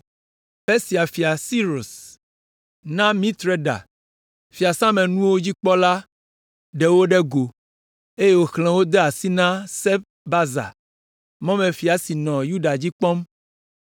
Persia Fia Sirus na Mitreda, fiasãmenuwo dzikpɔla ɖe wo ɖe go, eye wòxlẽ wo de asi na Sesbazar, mɔmefia si nɔ Yuda dzi kpɔm.